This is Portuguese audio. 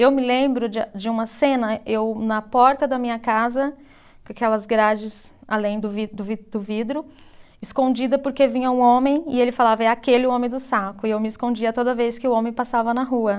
Eu me lembro de a, de uma cena, eu na porta da minha casa, com aquelas grades além do vi, do vi, do vidro, escondida porque vinha um homem e ele falava, é aquele o homem do saco, e eu me escondia toda vez que o homem passava na rua.